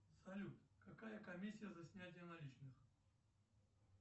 салют какая комиссия за снятие наличных